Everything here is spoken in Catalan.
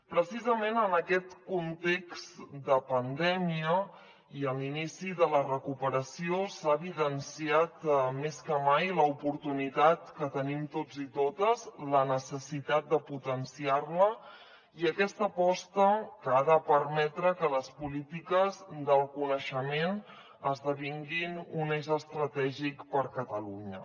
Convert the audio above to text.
precisament en aquest context de pandèmia i en l’inici de la recuperació s’ha evidenciat més que mai l’oportunitat que tenim tots i totes la necessitat de potenciar la i aquesta aposta ha de permetre que les polítiques del coneixement esdevinguin un eix estratègic per a catalunya